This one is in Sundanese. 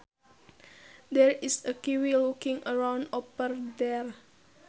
There is a kiwi looking around over there